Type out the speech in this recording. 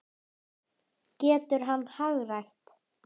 Getur hann hagrætt?